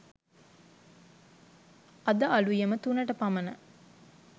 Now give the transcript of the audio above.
අද අලුයම තුනට පමණ